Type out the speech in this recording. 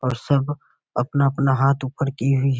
और सब अपना-अपना हाथ ऊपर किए --